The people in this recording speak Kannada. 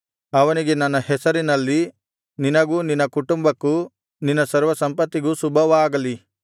ಅವನಿಗೆ ನನ್ನ ಹೆಸರಿನಲ್ಲಿ ನಿನಗೂ ನಿನ್ನ ಕುಟುಂಬಕ್ಕೂ ನಿನ್ನ ಸರ್ವಸಂಪತ್ತಿಗೂ ಶುಭವಾಗಲಿ